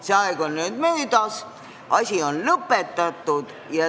See aeg on nüüd möödas, asi on lõpetatud.